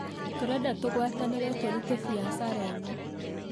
Tũrenda tũgwatanĩre tũrute biacana ĩno